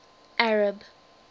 arab